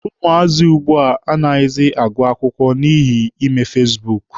Ụmụazị ugbua anaghịzi agụ akwụkwọ ha n'ihi ime fasibuuku.